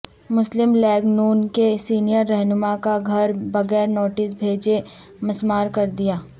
مسلم لیگ ن کے سینئر رہنما کا گھر بغیر نوٹس بھیجے مسمار کردیا